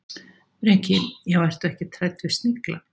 Breki: Já, ertu ekkert hrædd við snigla?